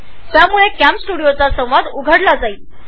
यामुळे कॅमस्टुडिओचा dialog box उघडेल